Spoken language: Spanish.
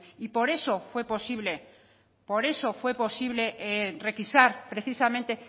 y por eso fue posible por eso fue posible requisar precisamente